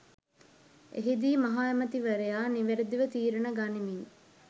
එහිදී මහ ඇමති වරයා නිවැරදිව තීරණ ගනිමින්